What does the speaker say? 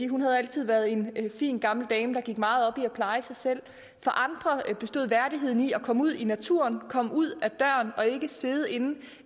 hun havde altid været en fin gammel dame der gik meget op i at pleje sig selv for andre bestod værdigheden i at komme ud i naturen komme ud ad døren og ikke sidde inde